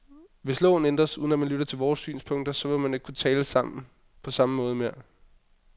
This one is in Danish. Hvis loven ændres, uden at man lytter til vores synspunkter, så vil vi ikke kunne tale sammen på samme måde mere.